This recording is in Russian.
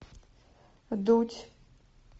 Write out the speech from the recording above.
дудь